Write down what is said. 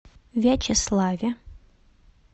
вячеславе